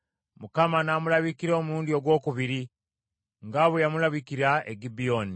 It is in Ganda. Mukama n’amulabikira omulundi ogwokubiri, nga bwe yamulabikira e Gibyoni.